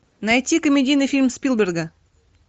найти комедийный фильм спилберга